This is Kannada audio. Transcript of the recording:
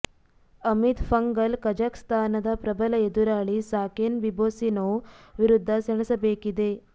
ಅಮಿತ್ ಪಂಘಲ್ ಕಜಾಕ್ಸ್ಥಾನದ ಪ್ರಬಲ ಎದುರಾಳಿ ಸಾಕೆನ್ ಬಿಬೊಸ್ಸಿನೋವ್ ವಿರುದ್ಧ ಸೆಣಸಬೇಕಿದೆ